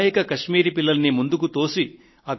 అమాయక కశ్మీరీ పిల్లలను ముందుకు తోసి